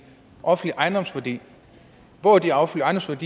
offentlige ejendomsværdi og hvor er de offentlige